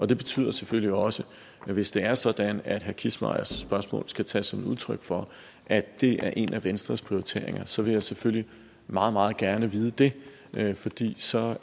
det betyder selvfølgelig også at hvis det er sådan at herre kissmeyers spørgsmål skal tages som et udtryk for at det er en af venstres prioriteringer så vil jeg selvfølgelig meget meget gerne vide det fordi det så